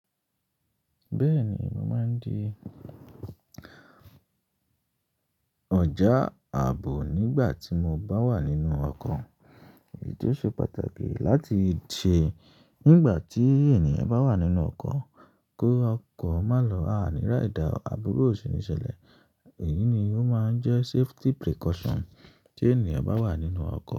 Bẹ́ẹ̀ni, mo máa ń di ọjà ààbò nígbà tí mo bá wà nínú ọkọ̀. Èyí tó ṣe pàtàkì láti ṣe nígbà tí ènìyàn bá wà nínú ọkọ̀, kó ọkọ̀ má lọ àìníri aìdá o àbúrú o sí níṣẹ́lẹ̀. Èyí ni ó máa ń jẹ́ safety precaution tí ènìyàn bá wà nínú ọkọ̀